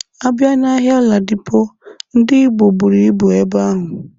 Abịa na ahịa Ladipo, Ndị Igbo buru ibu ebe ahụ.